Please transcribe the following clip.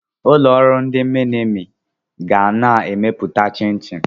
Ụlọ ọrụ ndị minimi ga na-emepụta chinchin.